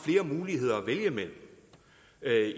muligheder at vælge mellem